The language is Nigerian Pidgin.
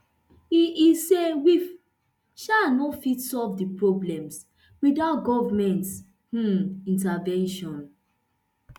e e say we um no fit solve dis problems witout goment um intervention